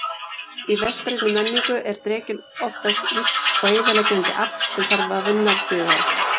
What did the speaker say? Í vestrænni menningu er drekinn oftast illt og eyðileggjandi afl sem vinna þarf bug á.